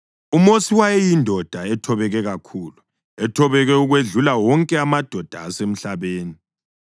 (UMosi wayeyindoda ethobeke kakhulu, ethobeke ukwedlula wonke amadoda asemhlabeni.)